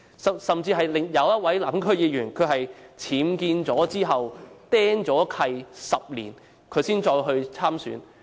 更甚者，一位南區區議員在僭建後被"釘契 "10 年才參選。